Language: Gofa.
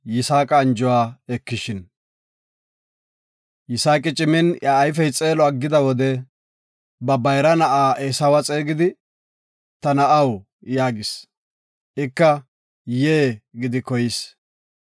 Yisaaqi cimin iya ayfey xeelo ixida wode ba bayra na7a Eesawe xeegidi, “Ta na7aw” yaagis. Ika, “Yee” gidi koyis.